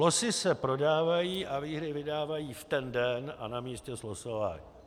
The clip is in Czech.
Losy se prodávají a výhry vydávají v ten den a na místě slosování.